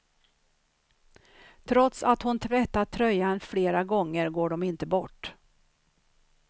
Trots att hon tvättat tröjan flera gånger går de inte bort.